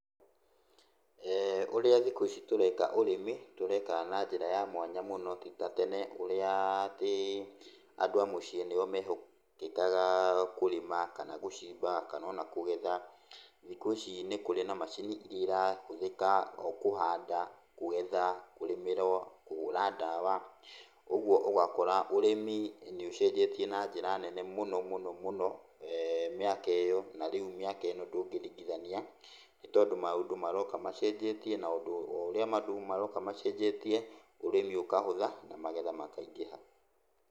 Ũrĩa thikũ ici tũreka ũrĩmi, tũreka na njĩra ya mwanya mũno ti ta tene, ũrĩa atĩ andũ a mũciĩ nĩo mehokekaga kũrĩma, kana gũcimba, kana ona kũgetha. Thikũ ici nĩ kũrĩ na macini iria irahũthĩka kũhanda, kũgetha, kũrĩmĩra, kũhũra ndawa, kuoguo ũgakora ũrĩmi nĩũcenjetie na njĩra nene mũno mũno mũno mĩaka ĩyo. Na rĩu mĩaka ĩno ndũngĩringithania, nĩ tondũ maũndũ maroka macenjetie na ũndũ o ũrĩa bado maroka macenjetie, ũrĩmi ũkahũtha na magetha makaingĩha.